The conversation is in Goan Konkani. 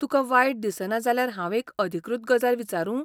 तुका वायट दिसना जाल्यार हांव एक अधिकृत गजाल विचारूं?